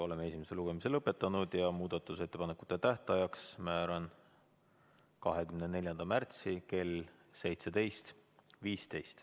Oleme esimese lugemise lõpetanud ja muudatusettepanekute tähtajaks määran 24. märtsi kell 17.15.